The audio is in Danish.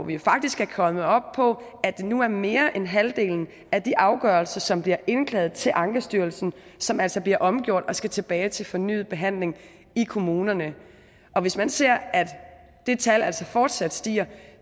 vi er faktisk kommet op på at det nu er mere end halvdelen af de afgørelser som bliver indklaget til ankestyrelsen som altså bliver omgjort og skal tilbage til fornyet behandling i kommunerne og hvis man ser at det tal altså fortsat stiger